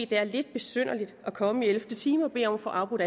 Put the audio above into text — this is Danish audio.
det er lidt besynderligt at komme i ellevte time og bede om at få afbrudt